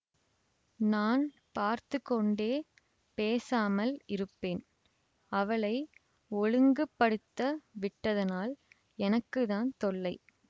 நான் பார்த்து கொண்டே பேசாமல் இருப்பேன் அவளை ஒழுங்குபடுத்த விட்டதனால் எனக்கு தான் தொல்லை